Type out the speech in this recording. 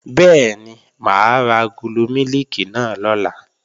Bẹ́ẹ̀ni, mà á ra agolo mílìkì náà lọ̀la